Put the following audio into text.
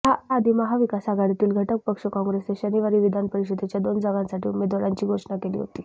याआधी महाविकास आघाडीतील घटक पक्ष काँग्रेसनं शनिवारी विधान परिषदेच्या दोन जागांसाठी उमेदवारांची घोषणा केली होती